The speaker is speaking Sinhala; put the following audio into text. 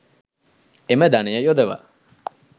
එම ධනය යොදවා